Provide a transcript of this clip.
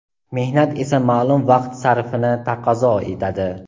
Mehnat esa ma’lum vaqt sarfini taqozo etadi.